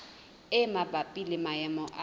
e mabapi le maemo a